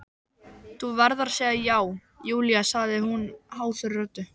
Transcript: Þú verður að segja já, Júlía sagði hún hásri röddu.